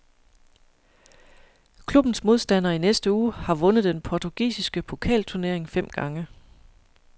Klubbens modstander i næste uge har vundet den portugisiske pokalturnering fem gange.